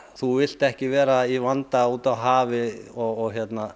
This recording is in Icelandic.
þú vilt ekki vera í vanda úti á hafi og